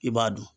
I b'a dun